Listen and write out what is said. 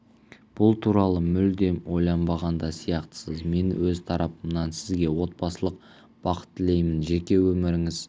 бұл туралы мүлдем ойланбаған да сияқтысыз мен өз тарапымнан сізге отбасылық бақыт тілеймін жеке өміріңіз